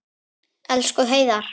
Elsku Heiðar.